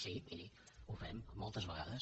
sí miri ho fem moltes vegades